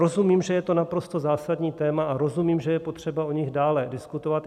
Rozumím, že je to naprosto zásadní téma, a rozumím, že je potřeba o nich dále diskutovat.